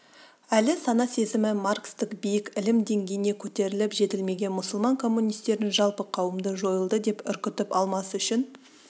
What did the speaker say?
әлі сана-сезімі маркстік биік ілім деңгейіне көтеріліп жетілмеген мұсылман коммунистерін жалпы қауымды жойылды деп үркітіп алмас үшін